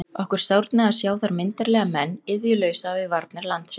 Okkur sárnaði að sjá þar myndarlega menn iðjulausa við varnir landsins.